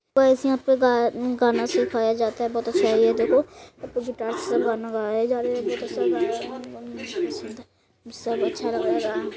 Guys यहाँ पर गा गाना सिखाया जाता है बोहोत अच्छा है देखो ऊपर गिटार से गाना गाया जा रहा है । सब अच्छा लग रहा है ।]